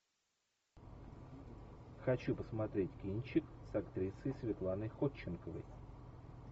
хочу посмотреть кинчик с актрисой светланой ходченковой